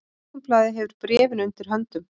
Morgunblaðið hefur bréfin undir höndum